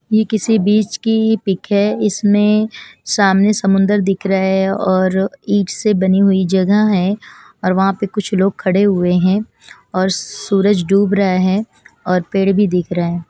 ये किसी बिच की पिक है इसमें सामने समुंदर दिख रहा है और ईंट से बनी हुई जगह है और वहाँ पे कुछ लोग खड़े हुए है और सूरज डूब रहा है और पेड़ भी दिख रहा है।